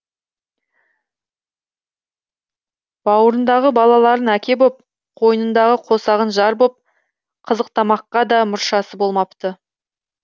бауырындағы балаларын әке боп қойнындағы қосағын жар боп қызықтамаққа да мұршасы болмапты